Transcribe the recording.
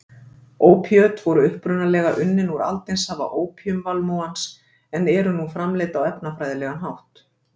Ópíöt voru upprunalega unnin úr aldinsafa ópíumvalmúans en eru nú framleidd á efnafræðilegan hátt.